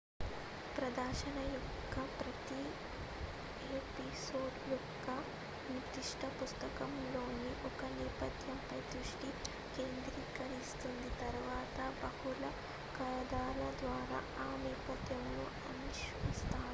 ప్రదర్శన యొక్క ప్రతి ఎపిసోడ్ ఒక నిర్దిష్ట పుస్తకంలోని ఒక నేపథ్యంపై దృష్టి కేంద్రీకరిస్తుంది తరువాత బహుళ కథల ద్వారా ఆ నేపథ్యమును అన్వేషిస్తాము